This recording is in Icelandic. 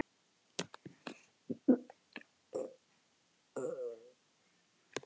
Sjálfar landvættirnar mótmæla svo jörðin skelfur.